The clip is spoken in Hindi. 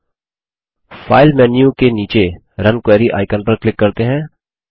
अब फाइल मेन्यू बार के नीचे रुन क्वेरी आइकन पर क्लिक करते हैं